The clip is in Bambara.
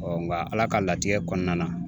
nka Ala ka latigɛ kɔnɔna na